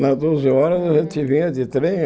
Nas doze horas a gente vinha de trem.